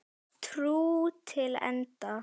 Trú til enda.